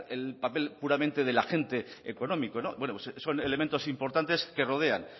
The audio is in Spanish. el papel puramente del agente económico bueno son elementos importantes que rodean